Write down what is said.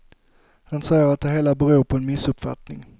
Han säger att det hela beror på en missuppfattning.